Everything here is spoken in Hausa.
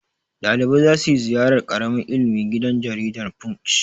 Ɗalibai za su ziyarar ƙara ilimi gidan jaridar Punch.